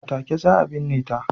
A take za a binne ta.